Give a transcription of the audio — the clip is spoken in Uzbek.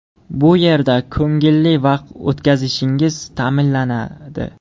Bu yerda ko‘ngilli vaqt o‘tkazishingiz ta’minlanadi.